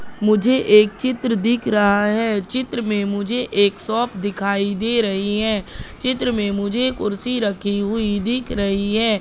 मुझे एक चित्र दिख रहा है चित्र में मुझे एक सॉप दिखाई दे रही है चित्र में मुझे कुर्सी रखी हुई दिख रही है।